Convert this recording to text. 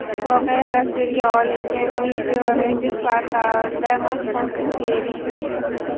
Voqea tasvirga olingan video Reddit portalida mashhurlikka erishdi .